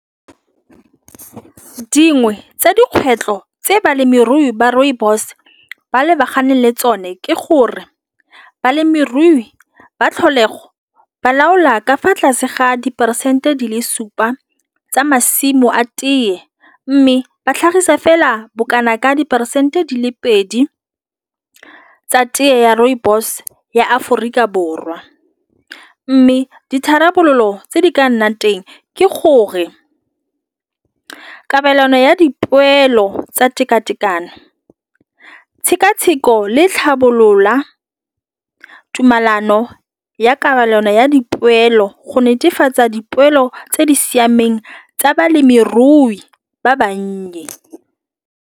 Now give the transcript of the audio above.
Ke dingwe tsa dikgwetlho tse balemirui ba rooibos ba lebagane le tsone ke gore balemirui ba tlholego ba laola ka fa tlase ga diperesente di le supa tsa masimo a tiye, mme ba tlhagisa fela bokana ka diperesente di le pedi tsa teye ya rooibos ya Aforika Borwa, mme ditharabololo tse di ka nnang teng ke gore kabelano ya dipoelo tsa tekatekano tšhekatsheko le tlhabolola tumalano ya kabelano ya dipoelo go netefatsa dipoelo tse di siameng tsa balemirui ba bannye.